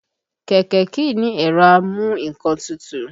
Kẹ̀kẹ́ kìí ní ẹ̀rọ amu nǹkan tutù